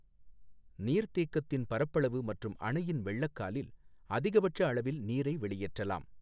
நீர்த்தேக்கத்தின் பரப்பளவு மற்றும் அணையின் வெள்ளக்காலில் அதிகபட்ச அளவில் நீரை வெளியேற்றலாம்.